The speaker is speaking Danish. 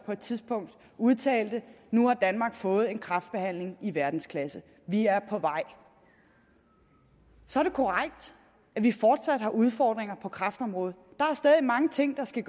på et tidspunkt udtalte nu har danmark fået en kræftbehandling i verdensklasse vi er på vej så er det korrekt at vi fortsat har udfordringer på kræftområdet der er stadig mange ting der skal